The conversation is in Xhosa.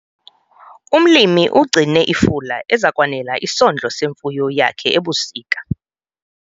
Umlimi ugcine ifula eza kwanela isondlo semfuyo yakhe ebusika.